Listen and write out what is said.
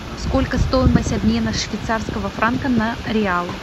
сколько стоимость обмена швейцарского франка на реал